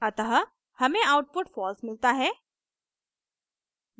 अतः हमें output false मिलता है